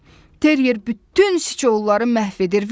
terier bütün siçanları məhv edir.